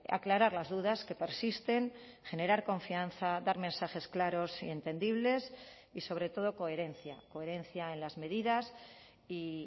aclarar las dudas que persisten generar confianza dar mensajes claros y entendibles y sobre todo coherencia coherencia en las medidas y